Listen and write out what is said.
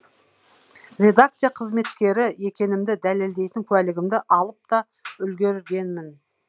редакция қызметкері екенімді дәлелдейтін куәлігімді алып та үлгергенмін